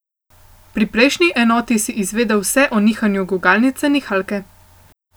Pri prejšnji enoti si izvedel vse o nihanju gugalnice nihalke.